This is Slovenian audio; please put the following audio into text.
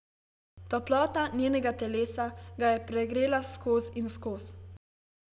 Toplota njenega telesa ga je pregrela skoz in skoz.